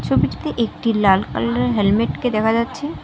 ছবিটিতে একটি লাল কালারের হেলমেটকে দেখা যাচ্ছে।